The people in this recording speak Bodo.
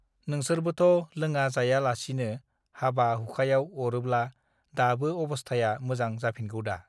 नोंसोरबोथ लोंङा जाया लासिनो हाबा हुखायाव अरोब्ला दाबो अबस्थाया मोजां जाफिनगौदा